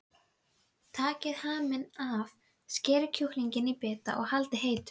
Takið haminn af, skerið kjúklinginn í bita og haldið heitum.